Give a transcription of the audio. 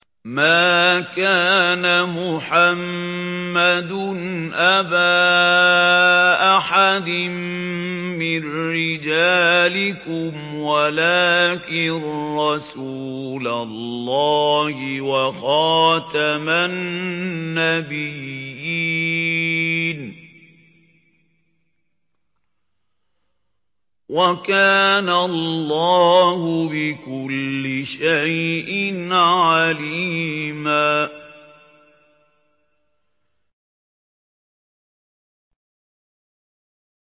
مَّا كَانَ مُحَمَّدٌ أَبَا أَحَدٍ مِّن رِّجَالِكُمْ وَلَٰكِن رَّسُولَ اللَّهِ وَخَاتَمَ النَّبِيِّينَ ۗ وَكَانَ اللَّهُ بِكُلِّ شَيْءٍ عَلِيمًا